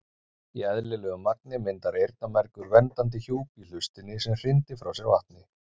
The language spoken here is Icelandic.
Í eðlilegu magni myndar eyrnamergur verndandi hjúp í hlustinni sem hrindir frá sér vatni.